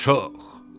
Çox.